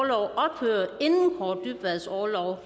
kaare dybvads orlov